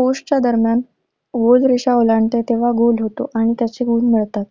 post च्या दरम्यान goal रेषा ओलांडते, तेव्हा गोल होत आणि त्याचे गुण मिळतात.